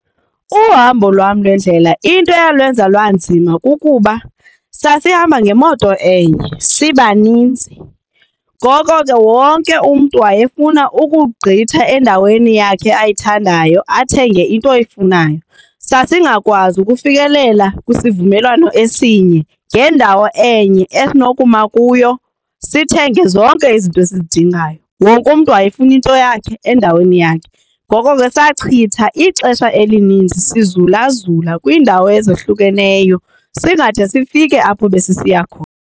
Uhambo lwam lwendlela into eyalwenza lwanzima kukuba sasihamba ngemoto enye sibaninzi. Ngoko ke wonke umntu wayefuna ukugqitha endaweni yakhe ayithandayo athenge into ayifunayo. Sasingakwazi ukufikelela kwisivumelwano esinye ngendawo enye esinokuma kuyo sithenge zonke izinto esizidingayo wonke mntu wayefuna into yakhe endaweni yakhe. Ngoko ke sachitha ixesha elininzi zizula zula kwiindawo ezahlukeneyo singade sifike apho besisiya khona.